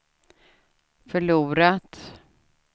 förlorat